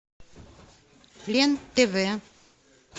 лен тв